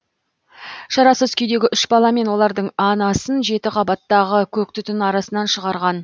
шарасыз күйдегі үш бала мен олардың анасын жеті қабаттағы көк түтін арасынан шығарған